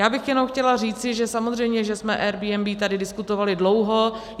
Já bych jenom chtěla říct, že samozřejmě že jsme Airbnb tady diskutovali dlouho.